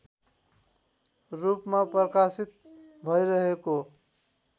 रूपमा प्रकाशित भइरहेको